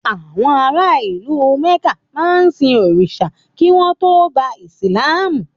Àwọn ara ìlú Mẹ̀ká máa ń sin òrìṣà kí wọ́n tó gba ìsìlámù.